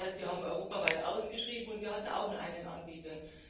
Das heißt, wir haben europaweit ausgeschrieben und wir hatten auch nur einen Anbieter.